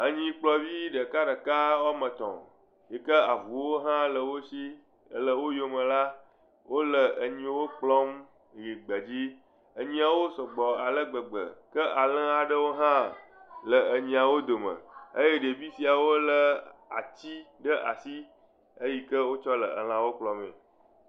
Enyikplɔvi ɖekaɖeka wɔme etɔ̃ yike avuwo hã le wo si ele wo yome la wole enyiwo kplɔm yi gbe dzi. Enyiawo sɔgbɔ ale gbegbe ke alẽwo aɖewo hã le enyiawo dome eye ɖevia siawo le atsi ɖe asi eyi ke wotsɔ le lãwo kplɔmee.